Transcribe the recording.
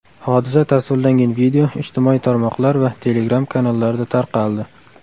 Hodisa tasvirlangan video ijtimoiy tarmoqlar va Telegram-kanallarda tarqaldi.